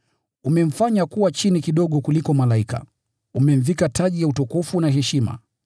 Umemfanya chini kidogo kuliko malaika; ukamvika taji ya utukufu na heshima,